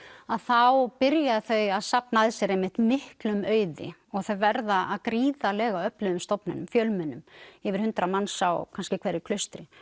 að þá byrja þau að safna að sér einmitt miklum auði og þau verða að gríðarlega öflugum stofnunum fjölmennum yfir hundrað manns á kannski hverju klaustri